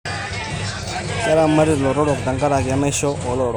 Keramati lotorok tenkaraki enaisho olotorok.